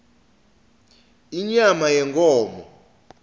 inyama yenkhomo